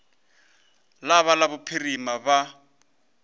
la ba la phirima ba